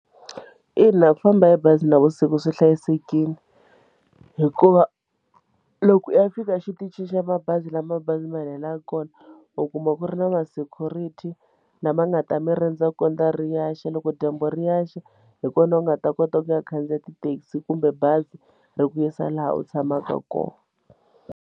Ina ku famba hi bazi navusiku swi hlayisekile hikuva loko u ya fika exitichini xa mabazi la mabazi ma helelaka kona u kuma ku ri na ma security lama nga ta mi rindza kondza ri ya xa, loko dyambu ri ehla hi kona u nga ta kota ku ya khandziya tithekisi kumbe bazi ri ku yisa laha u tshamaka kona.